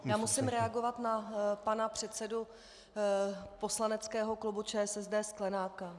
Já musím reagovat na pana předsedu poslaneckého klubu ČSSD Sklenáka.